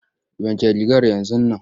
Wanke rigar yanzun nan!